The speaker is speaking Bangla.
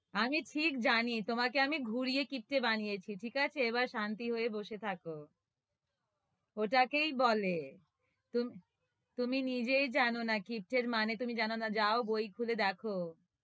আমি ঠিক জানি, তোমাকে আমি ঘুরিয়ে কিপ্টে বানিয়েছি, ঠিক আছে? এবার শান্তি হয়ে বসে থাকো ওটাকেই বলে তুমি তুমি নিজেই জানো না কিপ্টের মানে তুমি জানো না যাও বই খুলে দেখো,